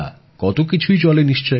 কত কিছুই চলে নিশ্চয়ই